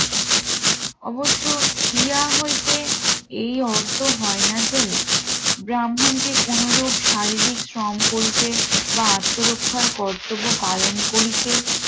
অবশ্য হিয়া হইতে এই অর্থ হয় না যে ব্রাহ্মণকে কোনরূপ শারীরিক সম করিতে বা আত্মরক্ষার কর্তব্য পালন করিতে